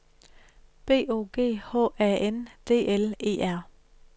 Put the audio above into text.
B O G H A N D L E R